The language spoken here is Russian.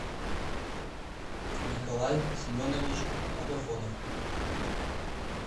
николай семенович агафонов